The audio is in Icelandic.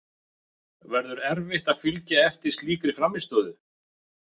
Verður erfitt að fylgja eftir slíkri frammistöðu?